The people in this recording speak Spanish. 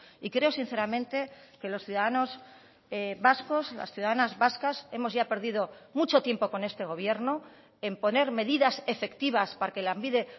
y creo sinceramente que los ciudadanos vascos las ciudadanas vascas hemos ya perdido mucho tiempo con este gobierno en poner medidas efectivas para que lanbide